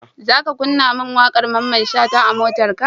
Zaka kunna mun waƙar mamman shata a motarka?